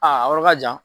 Aa yɔrɔ ka jan